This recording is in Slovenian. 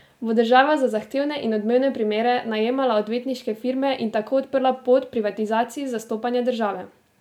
Bo država za zahtevne in odmevne primere najemala odvetniške firme in tako odprla pot privatizaciji zastopanja države?